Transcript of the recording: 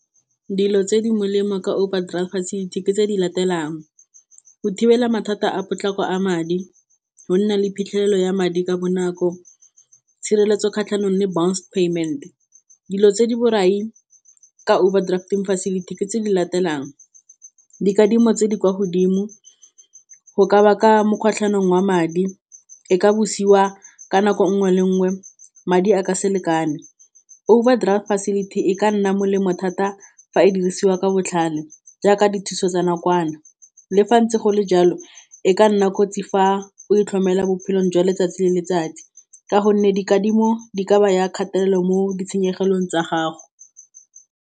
Dilo tse di molemo ka overdraft facility ke tse di latelang go thibela mathata a potlako a madi, go nna le phitlhelelo ya madi ka bonako, tshireletso kgatlhanong le bounce payment. Dilo tse di borai ka overdraft facility ke tse di latelang dikadimo tse di kwa godimo go ka baka wa madi, e ka bosiwa ka nako nngwe le nngwe, madi a ka se lekane. Overdraft facility e ka nna molemo thata fa e dirisiwa ka botlhale jaaka dithuso tsa nakwana, le fa ntse gole jalo e ka nna kotsi fa o itlhomela bophelong jwa letsatsi le letsatsi ka gonne dikadimo di ka ba ya kgatelelo mo ditshenyegelong tsa gago.